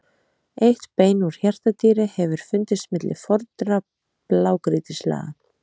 Eitt bein úr hjartardýri hefur fundist milli fornra blágrýtislaga.